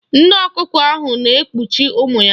Nne ọkụkọ ahụ na-ekpuchi ụmụ ya.